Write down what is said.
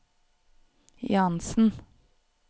Jahnsen